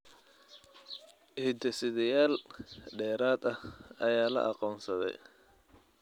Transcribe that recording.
Hidde-sideyaal dheeraad ah ayaa la aqoonsaday.